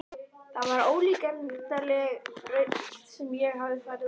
Það var ólíkindaleg braut sem ég hafði farið út á.